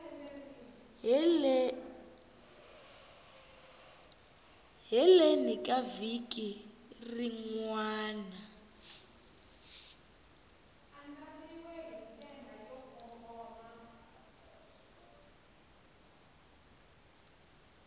heleni ka vhiki rin wana